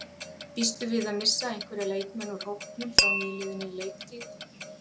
Býstu við að missa einhverja leikmenn úr hópnum frá nýliðinni leiktíð?